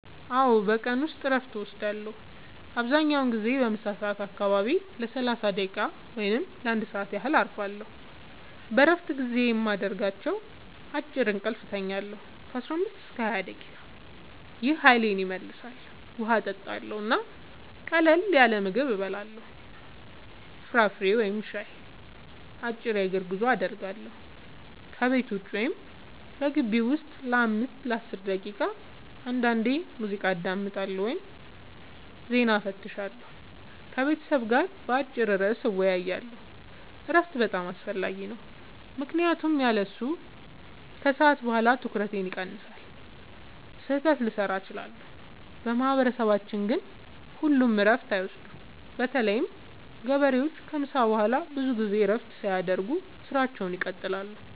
አዎ፣ በቀን ውስጥ እረፍት እወስዳለሁ። አብዛኛውን ጊዜ በምሳ ሰዓት አካባቢ ለ30 ደቂቃ ወይም ለ1 ሰዓት ያህል እረፋለሁ። በእረፍት ጊዜዬ የማደርጋቸው፦ · አጭር እንቅልፍ እተኛለሁ (15-20 ደቂቃ) – ይህ ኃይሌን ይመልሳል። · ውሃ እጠጣለሁ እና ቀላል ምግብ እበላለሁ (ፍራፍሬ ወይም ሻይ)። · አጭር የእግር ጉዞ አደርጋለሁ – ከቤት ውጭ ወይም በግቢው ውስጥ ለ5-10 ደቂቃ። · አንዳንዴ ሙዚቃ አዳምጣለሁ ወይም ዜና እፈትሻለሁ። · ከቤተሰብ ጋር በአጭር ርዕስ እወያያለሁ። እረፍት በጣም አስፈላጊ ነው ምክንያቱም ያለሱ ከሰዓት በኋላ ትኩረቴ ይቀንሳል፣ ስህተት ልሠራ እችላለሁ። በማህበረሰባችን ግን ሁሉም እረፍት አይወስዱም – በተለይ ገበሬዎች ከምሳ በኋላ ብዙ ጊዜ እረፍት ሳያደርጉ ሥራቸውን ይቀጥላሉ።